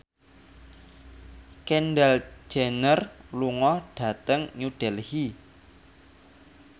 Kendall Jenner lunga dhateng New Delhi